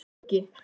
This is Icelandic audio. Skuggi